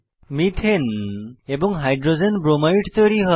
methane এবং hydrogen bromide তৈরী হয়